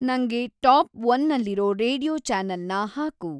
ನಂಗೆ ಟಾಪ್‌ ಒನ್ನಲ್ಲಿರೋ ರೇಡಿಯೋ ಚಾನೆಲ್ನ ಹಾಕು